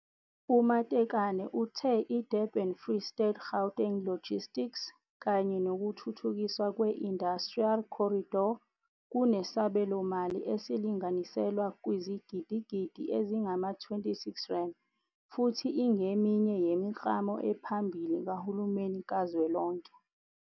U-Matekane uthe iDurban-Free State-Gauteng Logistics kanye nokuthuthukiswa kwe-Industrial Corridor kunesabelomali esilinganiselwa kwizigidigidi ezingama-R26 futhi ingeminye yemiklamo ephambili kahulumeni kazwelonke.